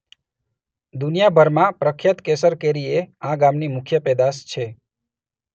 દુનીયાભરમાં પ્રખ્યાત કેસર કેરી એ આ ગામની મુખ્ય પેદાશ છે.